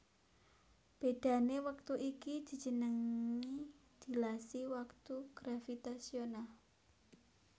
Bedhané wektu iki dijenengi dilasi waktu gravitasional